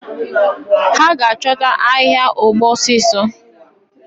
Ha ga achọta ahia ọgbọ osisi.